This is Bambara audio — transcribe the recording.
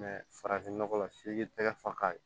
farafin nɔgɔ la f'i k'i tɛgɛ fa ka ye